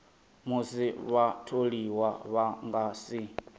musi vhatholiwa vha nga si